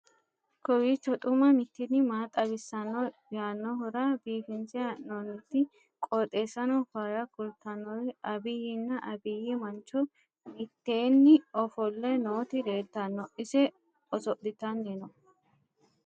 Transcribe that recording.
kowiicho xuma mtini maa xawissanno yaannohura biifinse haa'noonniti qooxeessano faayya kultannori abiyyinna abiyyi mancho mitteeenni ofolle nooti leeltanno ise oso'ltanni no.